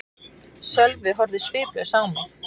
Sölvi horfði sviplaus á mig.